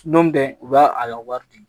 Don min tɛ u b'a a wari di